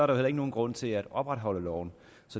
der heller ikke nogen grund til at opretholde loven